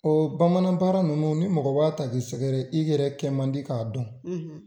Ɔ bamanan baara ninnu , ni mɔgɔ m'a ta ka i sɛgɛrɛ, i yɛrɛ kɛ man di k'a dɔn, .